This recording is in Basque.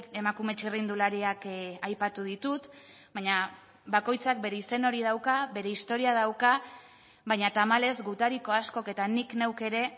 emakume txirrindulariak aipatu ditut baina bakoitzak bere izen hori dauka bere historia dauka baina tamalez gutariko askok eta nik neuk ere